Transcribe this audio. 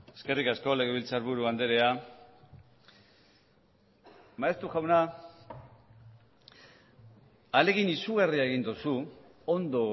eskerrik asko legebiltzarburu andrea maeztu jauna ahalegin izugarria egin duzu ondo